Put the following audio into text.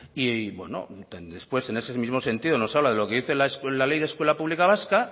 y bueno después en ese mismo sentido nos habla de lo que dice la ley de escuela pública vasca